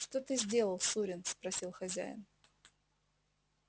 что ты сделал сурин спросил хозяин